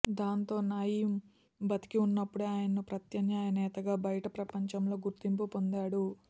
దాంతో నయీమ్ బతికి ఉన్నప్పుడే ఆయనకు ప్రత్యమ్నాయ నేతగా బయట ప్రపంచంలో గుర్తింపు పొందాడు